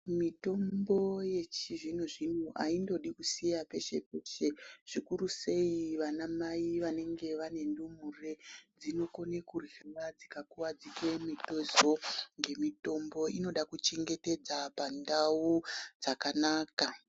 Mitombo yechizvino zvino aindodi kusiha peshe peshe zvikuru sei vana mai vanenge vane ndumure dzinokone kuryiwa dzikakuwadzike mitezo ngemitombo inoda kuchengetedza pandau dzakanaka.